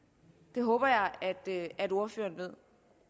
det håber jeg at ordføreren ved